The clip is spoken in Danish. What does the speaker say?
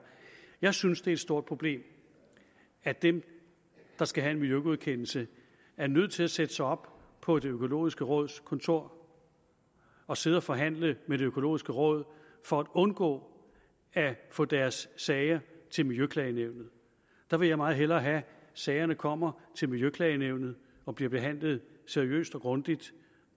jeg synes det er et stort problem at dem der skal have en miljøgodkendelse er nødt til at sætte sig op på det økologiske råds kontor og sidde og forhandle med det økologiske råd for at undgå at få deres sager til miljøklagenævnet der vil jeg meget hellere have sagerne kommer til miljøklagenævnet og bliver behandlet seriøst og grundigt